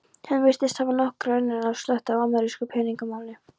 Hann virtist hafa nokkra unun af að sletta amerísku peningamáli.